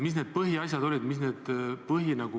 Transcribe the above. Mis need põhiasjad olid?